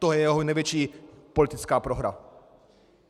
To je jeho největší politická prohra.